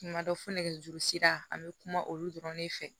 Kuma dɔ fo nɛgɛjuru sira an bɛ kuma olu dɔrɔn de fɛ